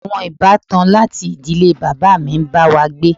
Àwọn ìbátan láti ìdílé bàbá mi ń bá wa gbé.